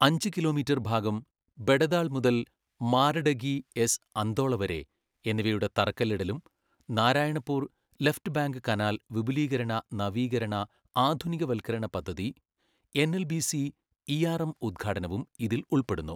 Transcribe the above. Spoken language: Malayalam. അഞ്ച് കിലോമീറ്റർ ഭാഗം ബഡദാൾ മുതൽ മാരഡഗി എസ് അന്ദോള വരെ എന്നിവയുടെ തറക്കല്ലിടലും നാരായണപൂർ ലെഫ്റ്റ് ബാങ്ക് കനാൽ വിപുലീകരണ നവീകരണ ആധുനികവൽക്കരണ പദ്ധതി എൻഎൽബിസി ഇആർഎം ഉദ്ഘാടനവും ഇതിൽ ഉൾപ്പെടുന്നു.